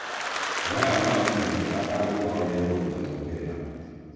Maya makũmenyeka angĩkorwo nĩekũrũta mwerekera